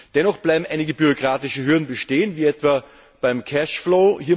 Dennoch bleiben einige bürokratische Hürden bestehen wie etwa beim Cashflow.